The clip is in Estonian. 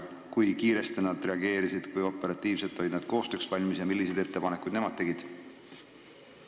Kui kiiresti nad reageerisid, kui operatiivselt olid nad koostööks valmis ja milliseid ettepanekuid nemad tegid?